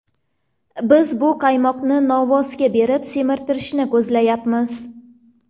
Biz bu qaymoqni novvosga berib semirtirishni ko‘zlayapmiz.